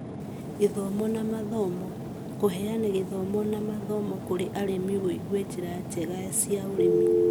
Gĩthomo na Mathomo: Kũheana gĩthomo na mathomo kũrĩ arĩmi wĩgie njĩra njega cia ũrĩmi,